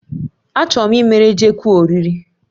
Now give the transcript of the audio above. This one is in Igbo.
Achọrọ m ịmere Jekwu oriri